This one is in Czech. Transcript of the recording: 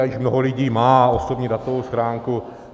A již mnoho lidí má osobní datovou schránku.